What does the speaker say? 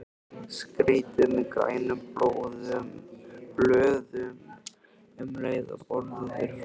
Skreytið með grænum blöðum um leið og borið er fram.